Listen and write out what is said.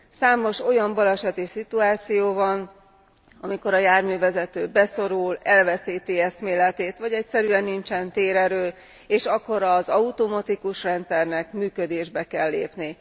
Számos olyan baleseti szituáció van, amikor a járművezető beszorul, elveszíti eszméletét, vagy egyszerűen nincsen térerő, és akkor az automatikus rendszernek működésbe kell lépni.